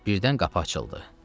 Birdən qapı açıldı.